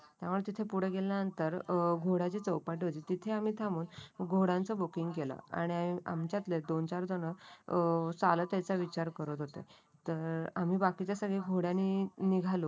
आम्हाला तिथे पुढे गेल्यानंतर अं घोड्याचे चौपट होते तिथे आम्ही थांबून घोड्यांच बुकिंग केला. आणि आमच्यातले दोन चार जण अ चालत याचा विचार करत होती. तर आम्ही बाकीचे सगळे घोड्या नि निघालो.